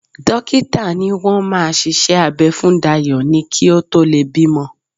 Dókítà ni wọ́n máa ṣiṣẹ́ abẹ́ fún Dayọ̀ ni kí ó tó lè bímọ